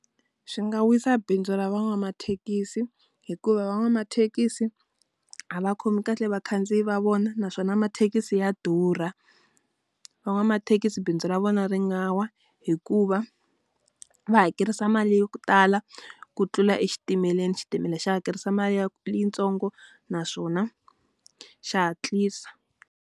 Swi nga wisa bindzu ra van'wamathekisi hikuva van'wamathekisi, a va khomi kahle vakhandziyi va vona naswona mathekisi ya durha. Van'wamathekisi bindzu ra vona ri nga wa hikuva, va hakerisa mali ya ku tala ku tlula exitimeleni. Xitimela xa hakerisa mali ya yintsongo naswona xa hatlisa.